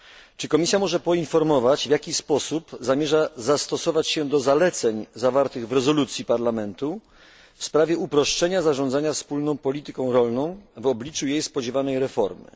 Czy Komisja może poinformować, w jaki sposób zamierza dostosować się do zaleceń zawartych w rezolucji Parlamentu w sprawie uproszczenia zarządzania wspólną polityką rolną w obliczu jej spodziewanej reformy?